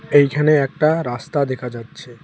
এইখানে একটা রাস্তা দেখা যাচ্ছে।